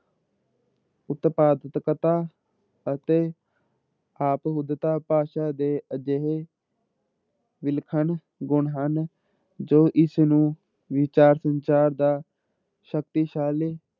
ਉਤਪਾਦਕਤਾ ਅਤੇ ਆਪਹੁਦਤਾ ਭਾਸ਼ਾ ਦੇ ਅਜਿਹੇ ਵਲੱਖਣ ਗੁਣ ਹਨ ਜੋ ਇਸ ਨੂੰ ਵਿਚਾਰ ਸੰਚਾਰ ਦਾ ਸ਼ਕਤੀਸ਼ਾਲੀ